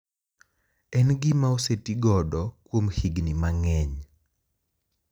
En gima osetigodo kuom higni mang`eny.